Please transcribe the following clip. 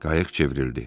Qayıq çevrildi.